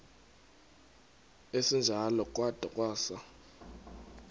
esinjalo kwada kwasa